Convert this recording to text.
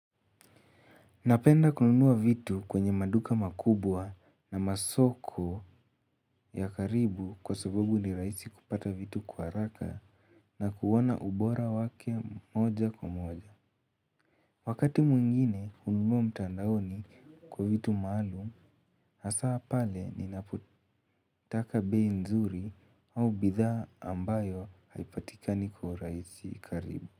Napenda kununua vitu kwenye maduka makubwa na masoko ya karibu kwa sababu ni rahisi kupata vitu kwa haraka na kuona ubora wake moja kwa moja. Wakati mwingine hununua mtandaoni kwa vitu maalum, hasa pale ninapotaka bei nzuri au bidhaa ambayo haipatika kwa urahisi karibu.